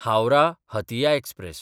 हावराह–हातिया express